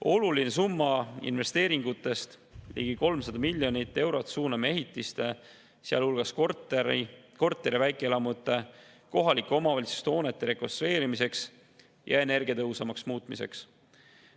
Olulise summa investeeringutest, ligi 300 miljonit eurot, suuname ehitiste, sealhulgas korter- ja väikeelamute ning kohalike omavalitsuste hoonete rekonstrueerimisse ja energiatõhusamaks muutmisesse.